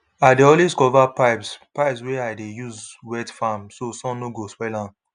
i dey always cover pipes pipes wey i dey use wet farm so sun no go spoil am